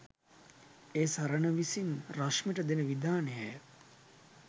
ඒ සරණ විසින් රශ්මිට දෙන විධානයය.